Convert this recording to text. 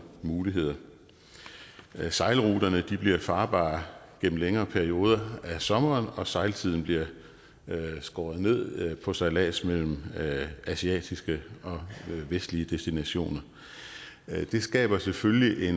muligheder sejlruter bliver farbare gennem længere perioder af sommeren og sejltiden bliver skåret ned på sejlads mellem asiatiske og vestlige destinationer det skaber selvfølgelig